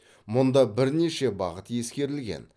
мұнда бірнеше бағыт ескерілген